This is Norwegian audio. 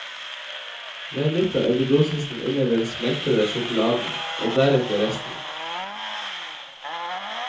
Vend litt av eggedosisen inn i den smeltede sjokoladen, og deretter resten.